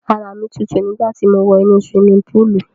Ara mi tutu nígbà ti mo wọ inú siwimi púùlù.